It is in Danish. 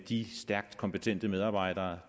de stærkt kompetente medarbejdere